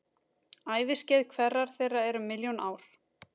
Æviskeið hverrar þeirra er um milljón ár.